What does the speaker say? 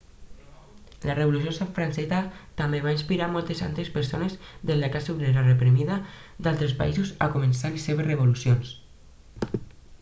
la revolució francesa també va inspirar moltes altres persones de la classe obrera reprimida d'altres països a començar les seves revolucions